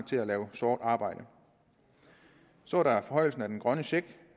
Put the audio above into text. til at lave sort arbejde så er der forhøjelsen af den grønne check